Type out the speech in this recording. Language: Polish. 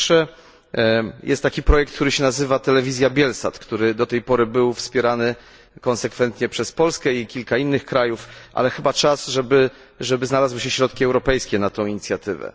Po pierwsze, jest taki projekt zwany Telewizja Bielsat, który do tej pory był wspierany konsekwentnie przez Polskę i kilka innych krajów, ale chyba czas, żeby znalazły się środki europejskie na tę inicjatywę.